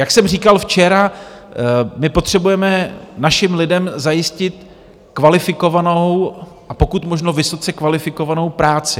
Jak jsem říkal včera, my potřebujeme našim lidem zajistit kvalifikovanou, a pokud možno vysoce kvalifikovanou práci.